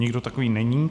Nikdo takový není.